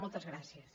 moltes gràcies